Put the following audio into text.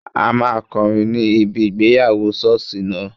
A máa kọrin ní ibi ìgbéyàwó sọ́ọ̀sì náà